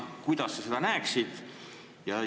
Kuidas sa seda näeksid?